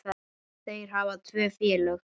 Þeir hafa tvö félög.